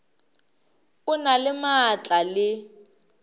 o na le maatla le